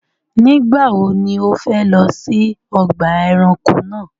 Nígbàwọ̀ ni o fẹ̀ lọ sí ọgba ẹ̀ránkò náà?